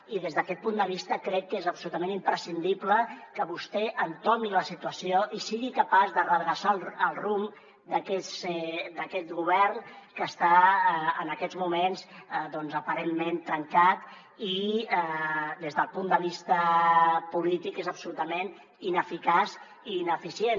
i des d’aquest punt de vista crec que és absolutament imprescindible que vostè entomi la situació i sigui capaç de redreçar el rumb d’aquest govern que està en aquests moments doncs aparentment trencat i des del punt de vista polític és absolutament ineficaç i ineficient